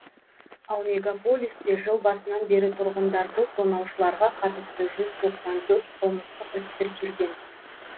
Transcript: ал мегаполисте жыл басынан бері тұрғындарды тонаушыларға қатысты жүз тоқсан төрт қылмыстық іс тіркелген